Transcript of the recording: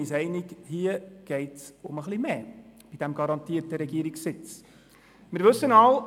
Ich glaube, wir sind uns einig, dass es bei dem garantierten Regierungssitz um etwas mehr geht.